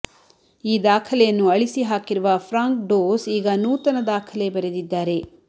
ಈ ದಾಖಲೆಯನ್ನು ಅಳಿಸಿ ಹಾಕಿರುವ ಫ್ರಾಂಕ್ ಡೋಸ್ ಈಗ ನೂತನ ದಾಖಲೆ ಬರೆದಿದ್ದಾರೆ